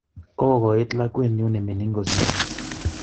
Kokokoit lakwenyu nemining kosiro